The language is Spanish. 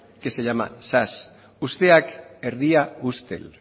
que se llama zas usteak erdia ustel